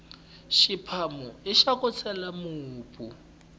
xiphawo ixa ku chela mupu